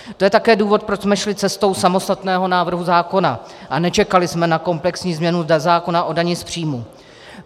To je také důvod, proč jsme šli cestou samostatného návrhu zákona a nečekali jsme na komplexní změnu zákona o dani z příjmů.